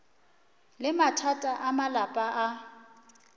le mathata a malapa a